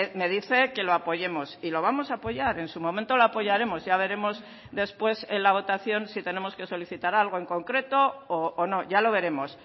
me dice que lo apoyemos y lo vamos a apoyar en su momento lo apoyaremos ya veremos después en la votación si tenemos que solicitar algo en concreto o no ya lo veremos